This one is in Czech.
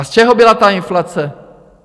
A z čeho byla ta inflace?